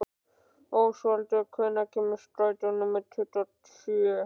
Ósvaldur, hvenær kemur strætó númer tuttugu og sjö?